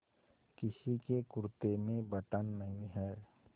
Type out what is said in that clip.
किसी के कुरते में बटन नहीं है